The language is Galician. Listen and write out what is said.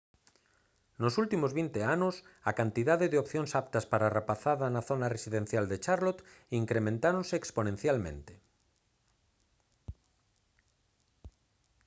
nos últimos 20 anos a cantidade de opcións aptas para a rapazada na zona residencial de charlotte incrementáronse exponencialmente